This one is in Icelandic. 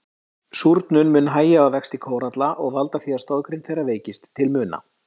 Súrnun mun hægja á vexti kóralla og valda því að stoðgrind þeirra veikist til muna.